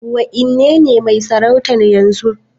Waenenetmai sarautar yanzu?